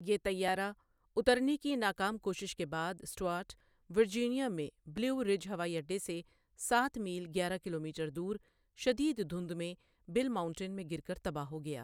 یہ طیارہ اترنے کی ناکام کوشش کے بعد سٹورٹ، ورجینیا میں بلیو رج ہوائی اڈے سے سات میل گیارہ کلومیٹر دور شدید دھند میں بل ماؤنٹین میں گر کر تباہ ہو گیا۔